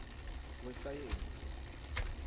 wesayensi